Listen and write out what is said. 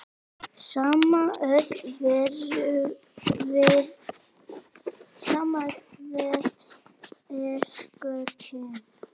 Sama öll við erum kyn.